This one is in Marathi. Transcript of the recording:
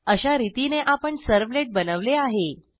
अशारितीने आपण सर्व्हलेट बनवले आहे